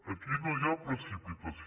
aquí no hi ha precipitació